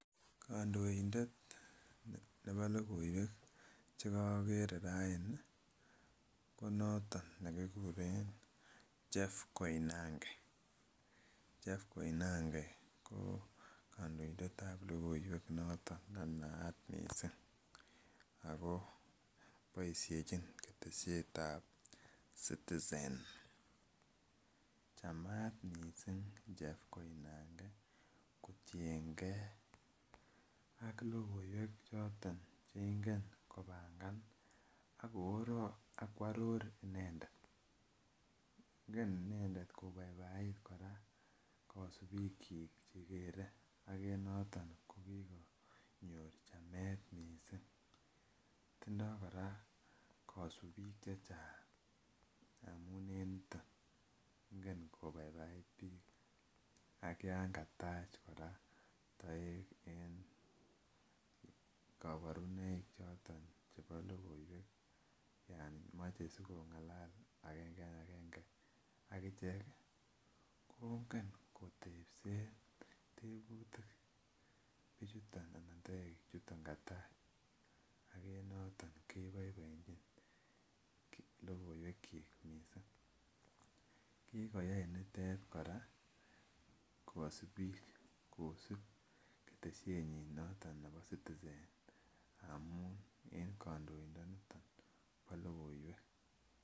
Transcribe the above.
Kondoindet nebo lokoiwek chekokere raini ko noton nekikuren Chef Koinange, Chef Koinange ko kondoindetab lokoiwek noton nenaat missing ako boishechin keteshetab citizen. Chemat missing Chef Koinange kotinyengee ak lokoiwek choton cheingen kopangan ak kworor inendet, ingen inendet kobaibait Koraa kosib chik chekere ak en noton kokikonyor chemet missing. Tindo Koraa kosubik chechang amun en niton ingen kobaibait bik ak yon katach Koraa toek en koborunoik choton chebo lokoiwek Yan moche sikongala agenga ak genge akichek kongen kotepsen tebutik bichuton ana toek chuton katach ak en noton keboiboechin lokoiwek chik missing. Kikoyai nitet Koraa kosibi kosib keteshet noton nebo citizen amun en kondoidon niton bo lokoiwek.